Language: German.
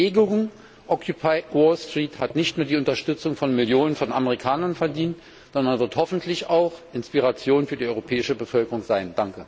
Die Bewegung Occupy Wall Street hat nicht nur die Unterstützung von Millionen von Amerikanern verdient, sondern wird hoffentlich auch Inspiration für die europäische Bevölkerung sein.